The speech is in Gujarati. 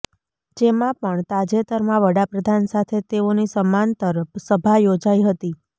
જેમાં પણ તાજેતરમાં વડાપ્રધાન સાથે તેઓની સમાંતર સભા યોજાઈ હતી